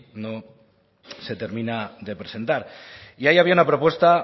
no se termina de presentar y ahí había una propuesta